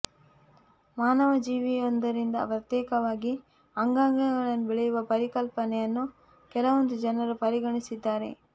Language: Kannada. ಮಾನವ ಜೀವಿಯೊಂದರಿಂದ ಪ್ರತ್ಯೇಕವಾಗಿ ಅಂಗಾಂಗಗಳನ್ನು ಬೆಳೆಯುವ ಪರಿಕಲ್ಪನೆಯನ್ನು ಕೆಲವೊಂದು ಜನರು ಪರಿಗಣಿಸಿದ್ದಾರೆ